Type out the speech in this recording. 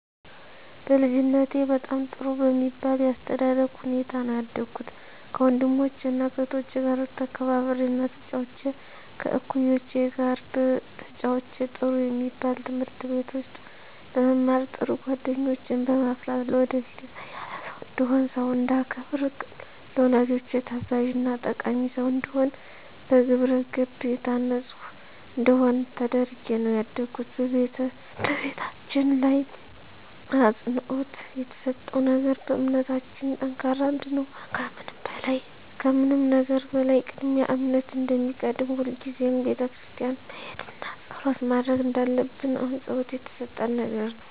በልጅነቴ በጣም ጥሩ በሚባል የአስተዳደግ ሁኔታ ነው ያደኩት ከወንድሞቸና ከእህቶቸ ጋር ተከባብሬና ተጫውቼ ከእኩዮቼ ጋር ተጫውቼ ጥሩ የሚባል ትምህርት ቤት ውስጥ በመማር ጥሩ ጓደኞችን በማፍራት ለወደፊት የተሻለ ሰው እንድሆን ሰውን እንዳከብር ለወላጆቼ ታዛዥና ጠቃሚ ሰው እንድሆን በግብረገብ የታነፅኩ እንድሆን ተደርጌ ነው ያደኩት በቤታችን ላይ አፅንዖት የተሰጠው ነገር በእምነታችን ጠንካራ እንድንሆን ከምንም ነገር በላይ ቅድሚያ እምነት እንደሚቀድም ሁልጊዜም ቤተክርስቲያን መሄድና ፀሎት ማድረግ እንዳለብን አፅንዖት የተሰጠን ነገር ነው።